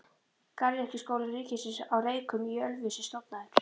Garðyrkjuskóli ríkisins á Reykjum í Ölfusi stofnaður.